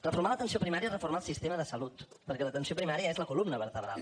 reformar l’atenció primària és reformar el sistema de salut perquè l’atenció primària és la columna vertebral